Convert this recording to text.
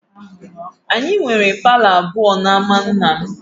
Anyị nwere palọ abụọ n'ámá nna m